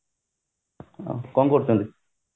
ଆଉ କଣ କରୁଛନ୍ତି